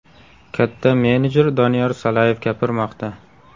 Katta menejer Doniyor Salayev gapirmoqda.